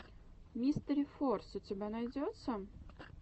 мистерифорс у тебя найдется